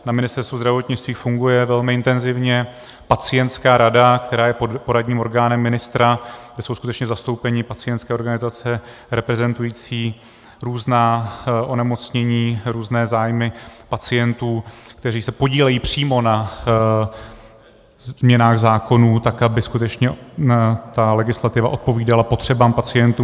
Na Ministerstvu zdravotnictví funguje velmi intenzivně Pacientská rada, která je poradním orgánem ministra, kde jsou skutečně zastoupeni pacientské organizace reprezentující různá onemocnění, různé zájmy pacientů, kteří se podílejí přímo na změnách zákonů, tak aby skutečně ta legislativa odpovídala potřebám pacientů.